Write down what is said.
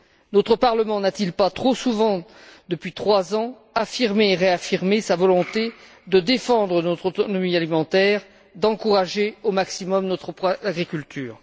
Notre Parlement n'a t il pas trop souvent, depuis trois ans, affirmé et réaffirmé sa volonté de défendre notre autonomie alimentaire, d'encourager au maximum notre agriculture?